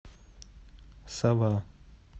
сова